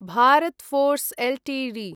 Bharat Forge Ltd